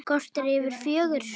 Korter yfir fjögur.